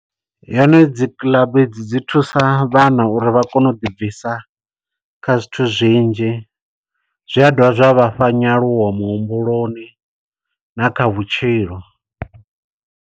Yone dzikiḽabu dzi thusa vhana uri vha kone u ḓibvisa kha zwithu zwinzhi. Zwi a dovha zwa vhafha nyaluwo muhumbuloni na kha vhutshilo.